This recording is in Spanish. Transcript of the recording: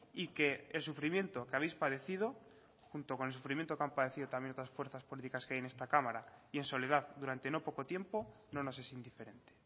y que el sufrimiento que habéis padecido junto con el sufrimiento que han padecido también otras fuerzas políticas que hay en esta cámara y en soledad durante no poco tiempo no nos es indiferente